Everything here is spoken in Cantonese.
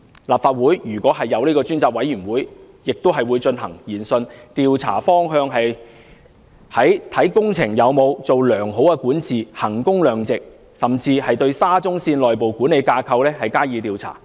立法會如果成立專責委員會，亦會進行研訊，調查方向集中在工程有否良好管治、衡工量值，甚至對沙中線的內部管理架構加以調查。